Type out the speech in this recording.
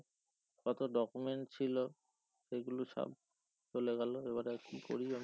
কত document ছিলো সেগুলো সব চলে গেলো এবারে কি করি আমি